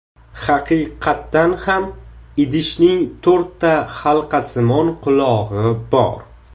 Haqiqatan ham idishning to‘rtta halqasimon qulog‘i bor.